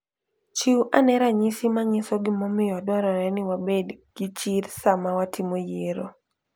Chiw ane ranyisi manyiso gimomiyo dwarore ni wabed gi chir sama watimo yiero.